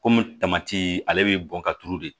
Kɔmi tamati ale bɛ bɔn ka turu de